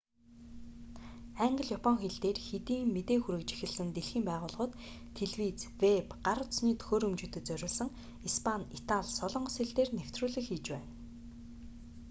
англи япон хэл дээр хэдийн мэдээ хүргэж эхэлсэн дэлхийн байгууллагууд телевиз вэб гар утасны төхөөрөмжүүдэд зориулсан испани итали солонгос хэл дээр нэвтрүүлэг хийж байна